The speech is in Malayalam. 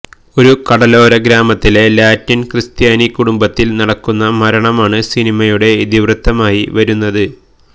ഒരു കടലോര ഗ്രാമത്തിലെ ലാറ്റിന് ക്രിസ്ത്യാനി കുടുംബത്തില് നടക്കുന്ന മരണമാണ് സിനിമയുടെ ഇതിവൃത്തമായി വരുന്നത്